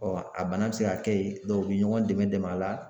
a bana bɛ se ka kɛ ye u bɛ ɲɔgɔn dɛmɛ dɛmɛ a la.